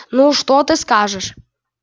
ну что ты скажешь